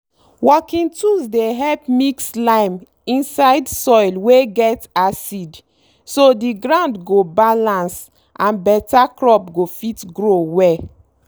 working tools dey help mix lime inside soil wey get acid so the ground go balance and better crop go fit grow well.